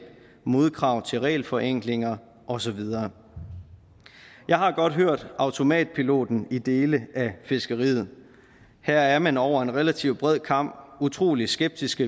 modkrav til regelforenklinger og så videre jeg har godt hørt automatreaktionen i dele af fiskeriet her er man over en relativt bred kam utrolig skeptisk